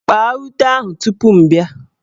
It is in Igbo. Kpaa ute ahụ tupu m bịa!